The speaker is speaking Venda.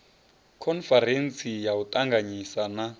khoniferentsi ya u ṱanganyisa na